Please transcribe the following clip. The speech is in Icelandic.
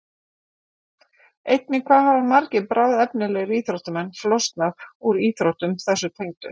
Einnig hvað hafa margir bráðefnilegir íþróttamenn flosnað úr íþróttum þessu tengdu?